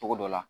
Togo dɔ la